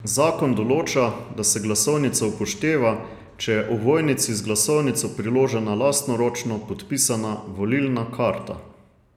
Zakon določa, da se glasovnica upošteva, če je ovojnici z glasovnico priložena lastnoročno podpisana volilna karta.